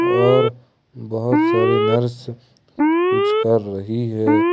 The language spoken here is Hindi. और बहुत सारी नर्स कुछ कर रही है।